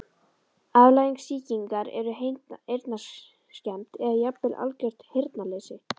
Afleiðing sýkingar er heyrnarskemmd eða jafnvel algert heyrnarleysi.